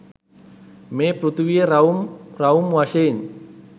මේ පෘථිවිය රවුම් රවුම් වශයෙන්